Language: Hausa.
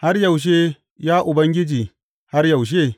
Har yaushe, ya Ubangiji, har yaushe?